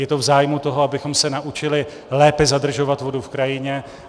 Je to v zájmu toho, abychom se naučili lépe zadržovat vodu v krajině.